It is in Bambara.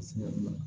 A seginna